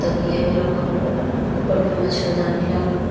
तकिया भी रखल बा। ऊपर में मछरदानी लागल बा।